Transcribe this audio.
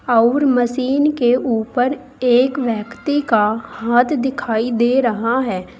और मशीन के ऊपर एक व्यक्ति का हाथ दिखाई दे रहा है।